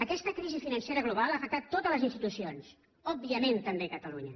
aquesta crisi financera global ha afectat totes les institucions òbviament també a catalunya